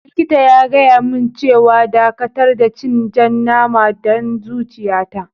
Likita na ya gaya mun cewa n'dakatar da cin jan nama dan zuciya ta.